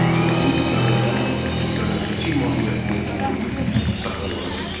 Ölkəmizin iqtisadiyyatının müstəmləkəçi mahiyyətini qoruyub saxlamağa çalışırdı.